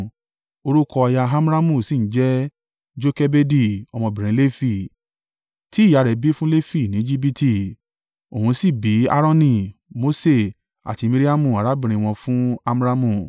orúkọ aya Amramu sì ń jẹ́ Jokebedi, ọmọbìnrin Lefi, tí ìyá rẹ̀ bí fún Lefi ní Ejibiti. Òun sì bí Aaroni, Mose, àti Miriamu arábìnrin wọn fún Amramu.